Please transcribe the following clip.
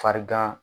Farigan